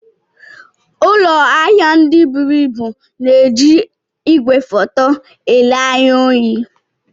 Ụlọ ahịa ndị buru ibu na-eji igwefoto ele anya ohi.